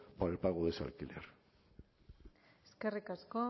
para el pago de ese alquiler eskerrik asko